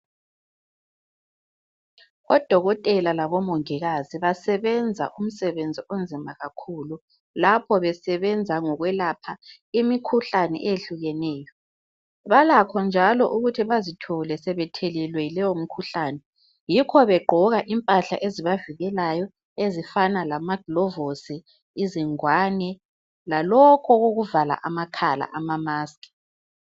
Odokotela labo mongikazi basenza umsebenzi onzima kakhulu lapho besenza ngokwelapha imikhuhlane ehlukeneyo. Balakho njalo ukuthi bazithole sebethelelwe yileyo mkhuhlane yikho begqoka impahla ezibavikelayo ezifana lama glovosi, izingwane lalokhu okokuvala amakhala ama maskhi.